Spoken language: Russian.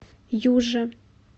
юже